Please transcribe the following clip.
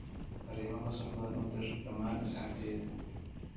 fariimo qosol badan udir dhamaan asxaabtayda